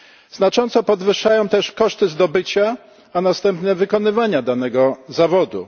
Znacząco podwyższają też koszty zdobycia, a następnie wykonywania danego zawodu.